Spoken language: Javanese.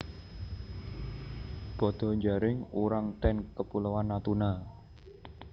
Badha njaring urang ten Kepulauan Natuna